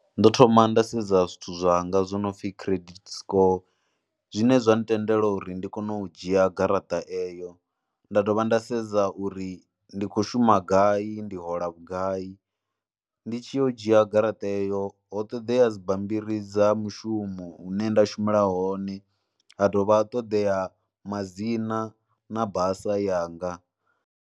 Ndo thoma nda sedza zwithu zwanga zwo no pfhi credit score zwine zwa ntendela uri ndi kone u dzhia garaṱa eyo nda dovha nda sedza uri ndi khou shuma gai, ndi hola vhugai, ndi tshi yo dzhia garaṱa heyo ho ṱoḓea dzi bammbiri dza mushumo une nda shumela hone ha dovha ha ṱoḓea ma dzina na basa yanga.